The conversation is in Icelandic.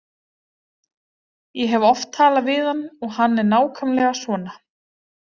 Ég hef oft talað við hann og hann er nákvæmlega svona.